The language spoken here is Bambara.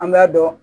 An b'a dɔn